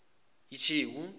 itheku